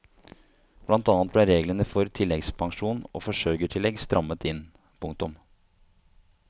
Blant annet ble reglene for tilleggspensjon og forsørgertillegg strammet inn. punktum